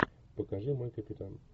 покажи мой капитан